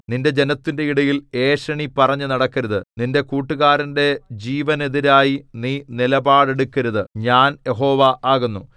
നിന്റെ ജനത്തിന്റെ ഇടയിൽ ഏഷണി പറഞ്ഞു നടക്കരുത് നിന്റെ കൂട്ടുകാരന്റെ ജീവനെതിരായി നീ നിലപാടെടുക്കരുത് ഞാൻ യഹോവ ആകുന്നു